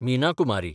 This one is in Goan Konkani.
मीना कुमारी